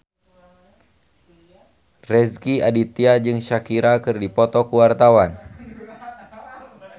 Rezky Aditya jeung Shakira keur dipoto ku wartawan